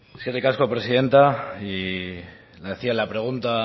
eskerrik asko presidenta y le hacia la pregunta